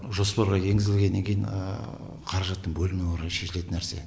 жоспарға енгізілгеннен кейін қаражаттың бөлінуіне қарай шешілетін нәрсе